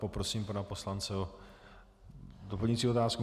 Poprosím pana poslance o doplňující otázku.